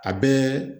A bɛɛ